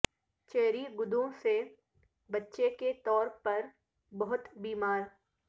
cherry گڈوں سے بچے کے طور پر بہت بیمار